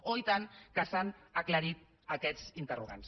oh i tant que s’han aclarit aquests interrogants